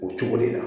O cogo de la